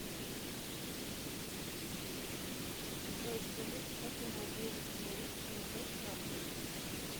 джой скажите как я могу восстановить пин код карты